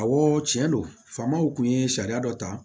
Awɔ tiɲɛ don famaw kun ye sariya dɔ ta